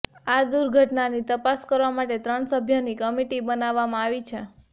આ દુર્ઘટનાની તપાસ કરવા માટે ત્રણ સભ્યોની કમિટી બનાવવામાં આવી છે